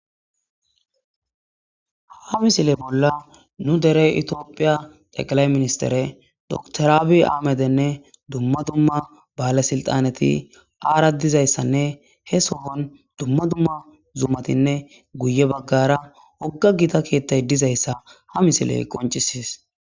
Ha missile bolla nu dere tophiya xeqilayi minisitere dokiter abi ahamede nee duma duma balesinixaneti ara dizayisane he sohoni duma duma zumatinne guye bagara wogga gitta kethay dizayisa ha misileyi qoncisesi.